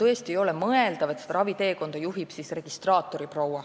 Tõesti ei ole mõeldav, et seda raviteekonda juhib registraatoriproua,